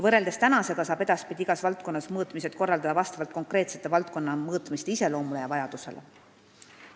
Võrreldes tänasega saab edaspidi igas valdkonnas mõõtmised korraldada vastavalt konkreetse valdkonna mõõtmiste iseloomule ja vajadusele.